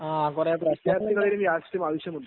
വിദ്യാർഥികൾക്കു രാഷ്ട്രീയം ആവശ്യമുണ്ടോ